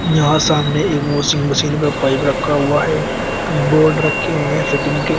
यहां सामने एक वॉशिंग मशीन का पाइप रखा हुआ है बोर्ड रखे हुए हैं फिटिंग के।